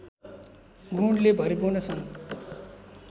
गुणले भरिपूर्ण छन्